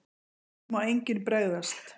NÚ MÁ ENGINN BREGÐAST!